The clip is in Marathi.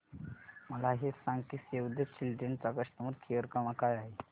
मला हे सांग की सेव्ह द चिल्ड्रेन चा कस्टमर केअर क्रमांक काय आहे